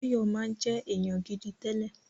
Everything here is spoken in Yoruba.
Báyọ̀ máa ń jẹ́ èèyàn gidi tẹ́lẹ̀